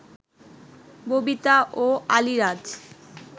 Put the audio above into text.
ববিতা ও আলীরাজ